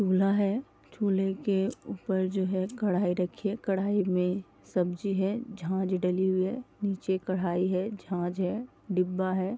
चूल्हा है। चूल्हे के ऊपर जो है कढ़ाई रखी है। कढ़ाई में सब्जी है। झाज डली हुई है। नीचे कढाई है झाज है डिब्बा है।